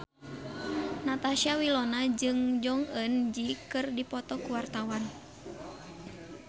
Natasha Wilona jeung Jong Eun Ji keur dipoto ku wartawan